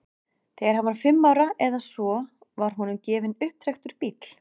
Þegar hann var fimm ára eða svo var honum gefinn upptrekktur bíll.